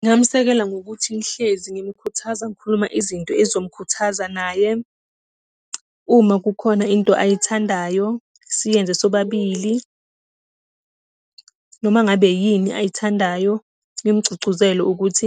Ngingamsekela ngokuthi ngihlezi ngimkhuthaza ngikhuluma izinto ezomkhuthaza naye. Uma kukhona into ayithandayo, siyenze sobabili. Noma ngabe yini ayithandayo, ngimgcugcuzele ukuthi